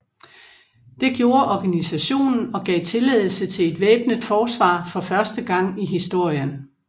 Det gjorde organisationen og gav tilladelse til et væbnet forsvar for første gang i historien